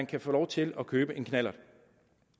kan få lov til at købe en knallert